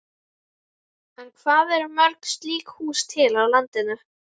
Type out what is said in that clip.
En hvað eru mörg slík hús til á landinu?